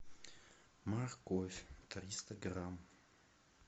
морковь триста грамм